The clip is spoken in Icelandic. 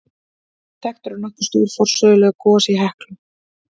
Þekkt eru nokkur stór forsöguleg gos í Heklu.